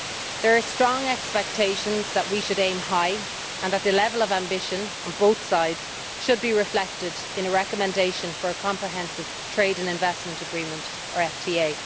There are strong expectations that we should aim high and that the level of ambition on both sides should be reflected in a recommendation for a comprehensive trade and investment agreement or FTA.